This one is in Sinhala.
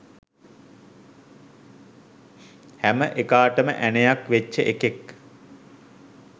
හැම එකාටම ඇනයක් වෙච්ච එකෙක්